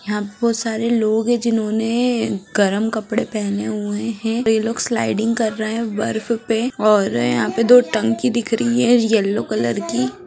यह बहुत सारे लोग हैं जिन्होंने गर्म कपड़े पहने हुए हैं ये लोग स्लाइडिंग कर रहे हैं बर्फ पे और यहाँ पर दो टंकी दिख रही है येलो कलर की --